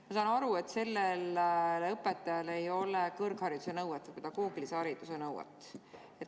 Ma saan aru, et sellel õpetajal ei ole kõrghariduse nõuet, pedagoogilise hariduse nõuet.